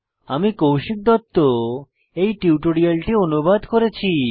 আমি কৌশিক দত্ত এই টিউটোরিয়ালটি অনুবাদ করেছি